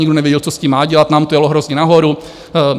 Nikdo nevěděl, co s tím má dělat, nám to jelo hrozně nahoru.